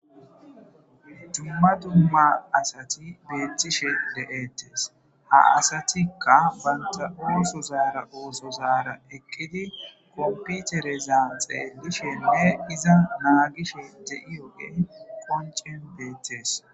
dumma dumma asati beettishe deettes ha asatikka banta ooso zaara ooso zaara ekkidi komputerezaan xeelishende iza naagishe de7iyoge qoncen beettes